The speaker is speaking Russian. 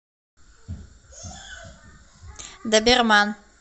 доберман